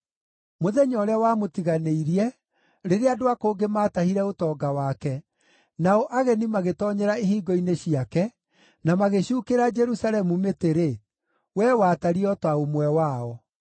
Mũthenya ũrĩa wamũtiganĩirie, rĩrĩa andũ a kũngĩ maatahire ũtonga wake, nao ageni magĩtoonyera ihingo-inĩ ciake, na magĩcuukĩra Jerusalemu mĩtĩ-rĩ, we watariĩ o ta ũmwe wao.